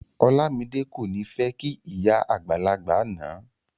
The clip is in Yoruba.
Olamide ko ni fẹ kí ìyá àgbàlagbà náà.